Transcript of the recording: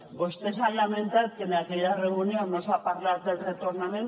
vostès han lamentat que en aquella reunió no s’ha parlat del retornament